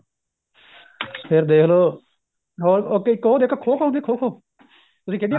ਫੇਰ ਦੇਖ ਲੋ ਹੋਰ ਉੱਥੇ ਇੱਕ ਹੋਰ ਦੇਖੋ ਖੋ ਖੋ ਹੁੰਦੀ ਖੋ ਖੋ ਤੁਸੀਂ ਖੇਡੀ ਆ